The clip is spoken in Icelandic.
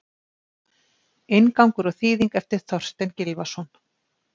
Inngangur og þýðing eftir Þorstein Gylfason.